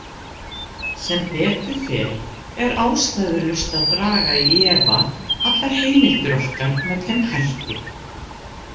Sem betur fer er ástæðulaust að draga í efa allar heimildir okkar með þeim hætti.